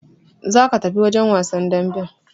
Za ka tafi wajen wasan damben!